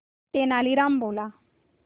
तेनालीराम बोला